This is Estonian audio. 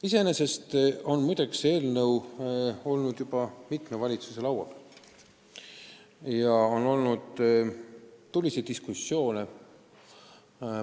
Iseenesest on see eelnõu olnud juba mitme valitsuse laual ja on olnud tuliseid diskussioone.